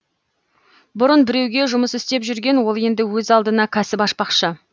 бұрын біреуге жұмыс істеп жүрген ол енді өз алдына кәсіп ашпақшы